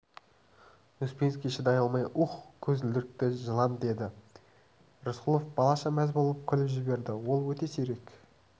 успенский шыдай алмай уһ көзілдірікті жылан деді рысқұлов балаша мәз болып күліп жіберді ол өте сирек